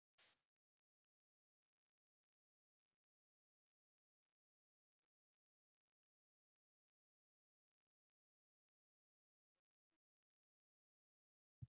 Ég fékk stundum kvíðaköst og jafnvel ranghugmyndir.